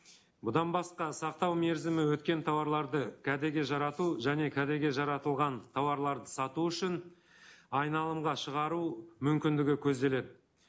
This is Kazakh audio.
бұдан басқа сақтау мерзімі өткен тауарларды кәдеге жарату және кәдеге жаратылған тауарларды сату үшін айналымға шығару мүмкіндігі көзделеді